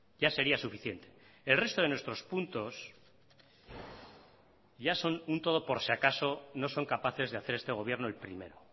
ya sería suficiente el resto de nuestros puntos ya son un todo por si acaso no son capaces de hacer este gobierno el primero